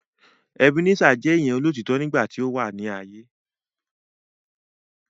Ebenezer je eniyan olotitọ nigba ti o wa laaye